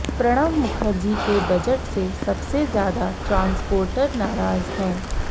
प्रणव मुखर्जी के बजट से सबसे ज्यादा ट्रांसपोर्टर नाराज हैं